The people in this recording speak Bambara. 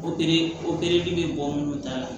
Opereli opereli bɛ bɔ munnu ta la